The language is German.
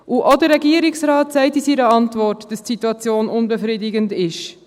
Auch der Regierungsrat sagt in seiner Antwort, dass die Situation unbefriedigend ist.